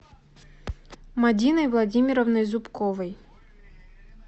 мадиной владимировной зубковой